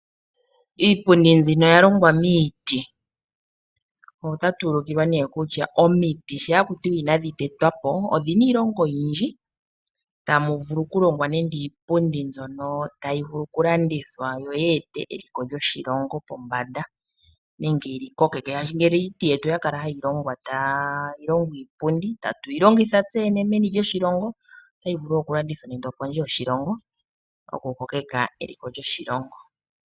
Iipundi mbino oya longwa miiti otatu ulikilwa ne kutya omiti sho haku tiwa inadhi tetwa po odhina iilongo oyindji. Tamu vulu oku longwa nando iipundi mbyono tayi vulu okulandithwa yo yi ete eliko lyoshilongo pombanda nenge yili kokeke shaashi ngele iiti yetu oya kala hayi longwa tayi longo iipundi tatuyi longitha tseyene meni lyoshilongo. Otayi vulu okulandithwa nando opondje yoshilongo oku kokeka eliko lyoshilongo.